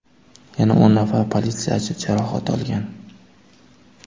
Yana o‘n nafar politsiyachi jarohat olgan.